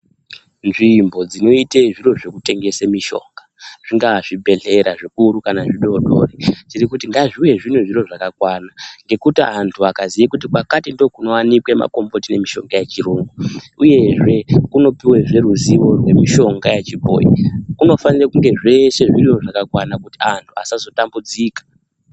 Nzvimbo dzinoite zviro zvekutengese mushonga, zvingaa zvibhehlera zvikuru kana zvidoodori, tiri kuti ngazviwe zvine zviro zvakakwana. Ngekuti antu akaziya kuti kwakati ndokunowanikwa makomboti nemushonga yechiyungu, uyezve kunopuwazve ruzivo nemushonga wechibhoyi. Kunofanire kunge zveshe zvinge zviriyo zvakakwana kuitira kuti antu asazotambudzika.